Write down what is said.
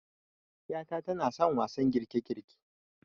'yata tanason wasan girkegirke